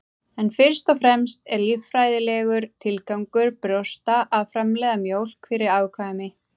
En fyrst og fremst er líffræðilegur tilgangur brjósta að framleiða mjólk fyrir afkvæmi.